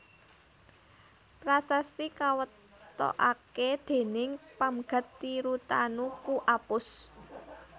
Prasasti kawetokaké déning Pamgat Tirutanu Pu Apus